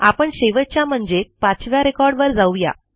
आपण शेवटच्या म्हणजे पाचव्या रेकॉर्ड वर जाऊ या